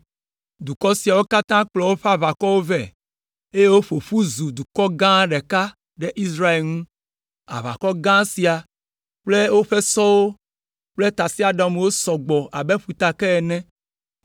Dukɔ siawo katã kplɔ woƒe aʋakɔwo vɛ, eye woƒo ƒu zu aʋakɔ gã ɖeka ɖe Israel ŋu. Aʋakɔ gã sia kple woƒe sɔwo kple tasiaɖamwo sɔ gbɔ abe ƒutake ene.